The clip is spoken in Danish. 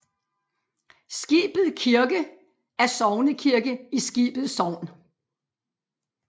Skibet Kirke er sognekirke i Skibet Sogn